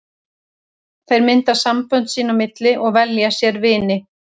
Þeir mynda sambönd sín á milli og velja sér vini.